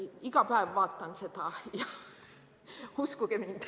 Iga päev vaatan seda, uskuge mind.